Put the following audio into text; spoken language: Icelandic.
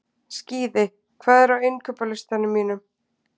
Skíði, hvað er á innkaupalistanum mínum?